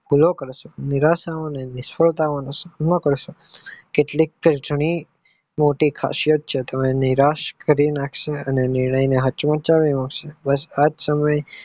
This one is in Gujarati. ભૂલો કારસો અને નિરાશા અને નિષ્ફળતા ને સુકામ કારસો કેટલીક મોટી ખાસિયત છે નિરાશ કરી નાખશે નિયંત્રણ ને સાચમચાવી નાખશે પલાશ આવા સમય